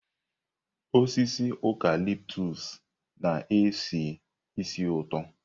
Osisi ụcalịptụs na-esi ísì ụtọ.